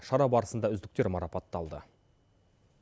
шара барысында үздіктер марапатталды